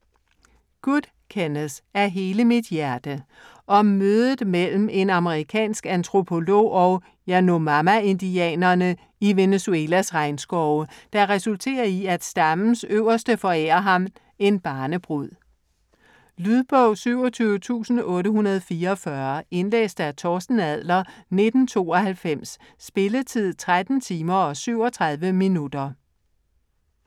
Good, Kenneth: Af hele mit hjerte Om mødet mellem en amerikansk antropolog og yanomama-indianerne i Venezuelas regnskove, der resulterer i at stammens øverste forærer ham en barnebrud. Lydbog 27844 Indlæst af Torsten Adler, 1992. Spilletid: 13 timer, 37 minutter.